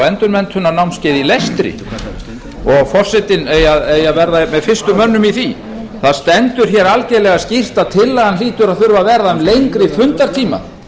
endurmenntunarnámskeiði í lestri og forsetinn eigi að vera með fyrstu mönnum í því það stendur hér algerlega skýrt að tillagan hlýtur að þurfa að verða um lengri fundartíma